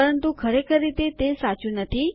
પરંતુ ખરેખર રીતે તે સાચું નથી